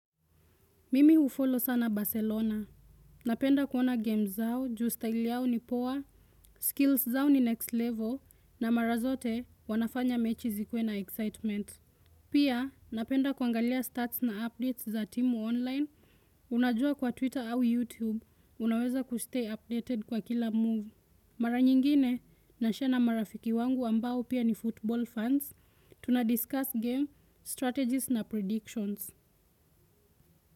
Mimi hufollow sana Barcelona. Napenda kuona games zao, juu style yao ni poa, skills zao ni next level, na mara zote wanafanya mechi zikuwe na excitement. Pia, napenda kuangalia stats na updates za timu online. Unajua kwa Twitter au YouTube, unaweza kustay updated kwa kila move. Mara nyingine, nashare na marafiki wangu ambao pia ni football fans, tunadiscuss game, strategies na predictions.